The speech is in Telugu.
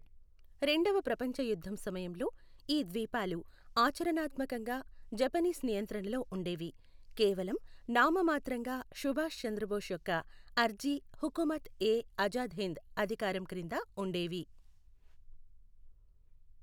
రెండవ ప్రపంచ యుద్ధం సమయంలో, ఈ ద్వీపాలు ఆచరణాత్మకంగా జపనీస్ నియంత్రణలో ఉండేవి, కేవలం నామమాత్రంగా సుభాష్ చంద్రబోస్ యొక్క అర్జీ హుకుమత్ ఎ ఆజాద్ హింద్ అధికారం క్రింద ఉండేవి.